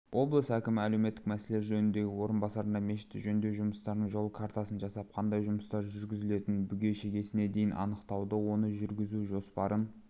облыс әкімі әлеуметтік мәселелер жөніндегі орынбасарына мешітті жөндеу жұмыстарының жол картасын жасап қандай жұмыстар жүргізілетінін бүге-шігесіне дейін анықтауды оны жүргізу жоспарын